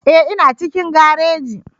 Ee, ina cikin gareji